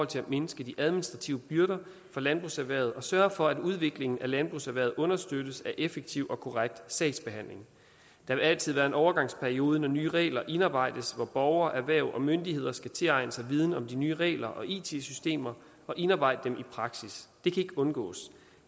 til at mindske de administrative byrder for landbrugserhvervet og sørge for at udviklingen af landbrugserhvervet understøttes af en effektiv og korrekt sagsbehandling der vil altid være en overgangsperiode når nye regler indarbejdes hvor borgere erhverv og myndigheder skal tilegne sig viden om de nye regler og it systemer og indarbejde dem i praksis det kan ikke undgås